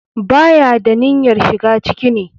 Ba ya da niyyarshiga ciki ne.